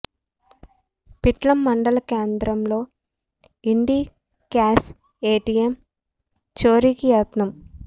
పిట్లం మండల కేంద్రంలో Indicash A T M చోరికి యత్నం